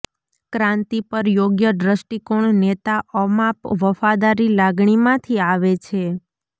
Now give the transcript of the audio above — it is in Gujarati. ક્રાંતિ પર યોગ્ય દૃષ્ટિકોણ નેતા અમાપ વફાદારી લાગણી માંથી આવે છે